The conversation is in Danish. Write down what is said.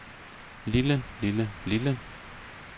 lille lille lille